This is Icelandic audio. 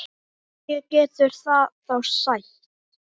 Hverju getur það þá sætt?